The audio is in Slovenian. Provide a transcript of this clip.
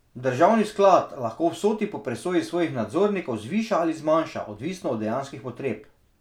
Državni sklad lahko vsoti po presoji svojih nadzornikov zviša ali zmanjša, odvisno od dejanskih potreb.